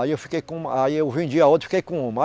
Aí eu fiquei com uma, aí eu vendi a outra e fiquei com uma.